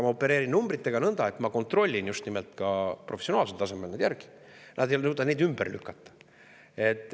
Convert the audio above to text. Ma opereerin numbritega nõnda, et ma kontrollin just nimelt ka professionaalsel tasemel need järele, nad ei suuda neid ümber lükata.